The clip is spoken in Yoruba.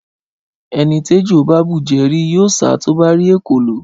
Ẹni t'ẹjọ bà bújẹ̀ ri ,yio sà tọ bà ri ẹkòló